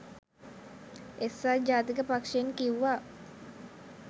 එක්සත් ජාතික පක්ෂයෙන් කිව්වා